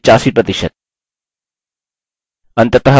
अंततः workload को 1 निर्धारित करें